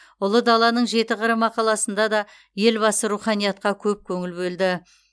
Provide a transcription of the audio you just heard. ұлы даланың жеті қыры мақаласында да елбасы руханиятқа көп көңіл бөлді